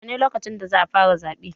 Yaushe ne lokacin da za fara zaɓe?